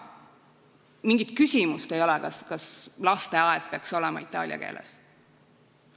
Mingit küsimust ei ole, kas lasteaed peaks olema itaalia keeles.